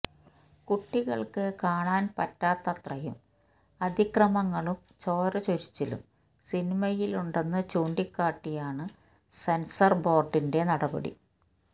കുട്ടികള്ക്ക് കാണാന് പറ്റാത്തത്രയും അതിക്രമങ്ങളും ചോര ചൊരിച്ചിലും സിനിമയിലുണ്ടെന്ന് ചൂണ്ടിക്കാട്ടിയാണ് സെന്സര് ബോര്ഡിന്റെ നടപടി